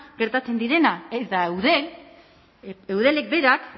gertatzen direnak eta eudel eudelek berak